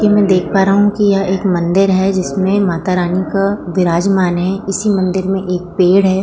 यहां में देख पा रहा हू कि यह एक मंदिर है जिसमें माता रानी विराजमान हैं इसी मंदिर में एक पेड़ है।